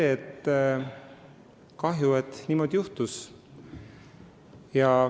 Ma ütleksin, et on kahju, et niimoodi juhtus.